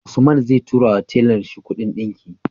Usman zai tura wa tellan shi Ƙudin dinki